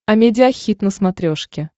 амедиа хит на смотрешке